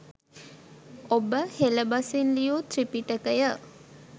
ඔබ “හෙල බසින් ලියූ ත්‍රිපිටකය